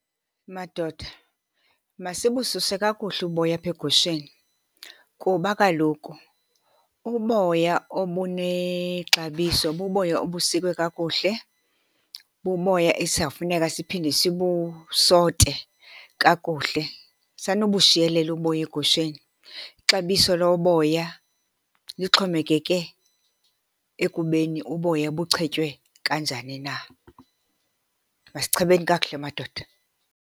Madoda, masibususe kakuhle uboya apha egusheni. Kuba kaloku uboya obunexabiso buboya obusikwe kakuhle, buboya esizafuneka siphinde sibusote kakuhle. Sanubushiyelela uboya egusheni, ixabiso loboya lixhomekeke ekubeni uboya buchetywe kanjani na. Masichebeni kakuhle madoda.